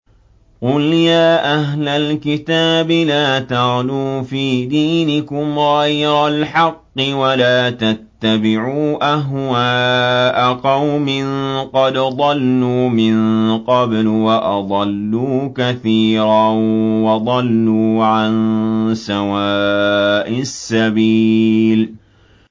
قُلْ يَا أَهْلَ الْكِتَابِ لَا تَغْلُوا فِي دِينِكُمْ غَيْرَ الْحَقِّ وَلَا تَتَّبِعُوا أَهْوَاءَ قَوْمٍ قَدْ ضَلُّوا مِن قَبْلُ وَأَضَلُّوا كَثِيرًا وَضَلُّوا عَن سَوَاءِ السَّبِيلِ